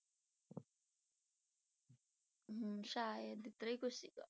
ਹਮ ਸ਼ਾਇਦ ਇਸ ਤਰ੍ਹਾਂ ਹੀ ਕੁਛ ਸੀਗਾ।